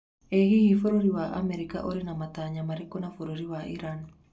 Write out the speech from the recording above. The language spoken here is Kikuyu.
Ĩ hihi bũrũri wa America ũrĩ na matanya marĩkũ na bũrũri wa Iran?